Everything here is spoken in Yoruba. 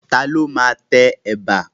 Ta ni ó máa tẹ ẹ̀bà?